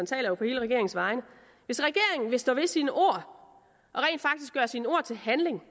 taler jo på hele regeringens vegne vil stå ved sine ord og sine ord til handling